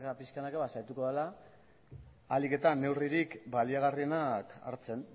pixkanaka saiatuko dela ahalik eta neurririk baliagarrienak hartzen